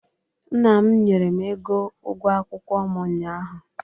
Nna m nyere m ego ụgwọ akwụkwọ m unyaah u.